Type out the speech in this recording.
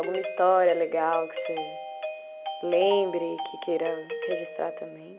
Alguma história legal que você lembre e que queira registrar também?